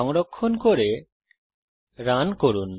সংরক্ষণ করে রান করুন